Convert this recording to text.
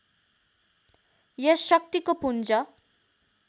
यस शक्तिको पुञ्ज